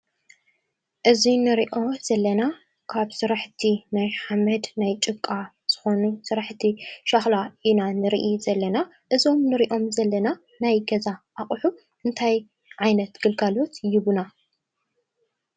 እዙይ ንርኦ ዘለና ካብ ሥራሕእቲ ናይ ሓመድ ናይ ጭቃ ዝኾኑ ሠራሕእቲ ሻኽላ ኢና ንርኢ ዘለና እዞም ንርእኦም ዘለና ናይ ገዛ ኣቝሑ እንታይ ዓይነት ግልጋሎት ይህቡና?